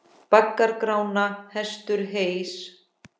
Baggar Grána hestur heys.